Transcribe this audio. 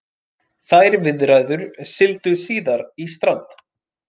Þær viðræður sigldu síðar í strand